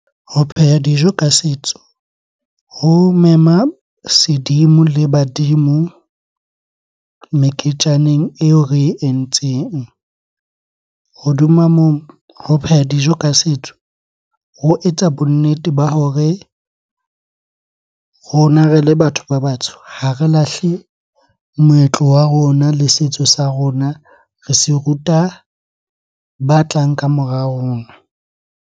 Ho pheha dijo ka setso ho mema sedimo le badimo meketjaneng eo re e entseng. Hodima moo, ho pheha dijo ka setso ho etsa bonnete ba hore rona re le batho ba batsho ha re lahle moetlo wa rona le setso sa rona. Re se ruta ba tlang ka mora rona.